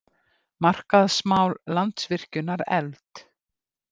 Markaðsmál Landsvirkjunar efld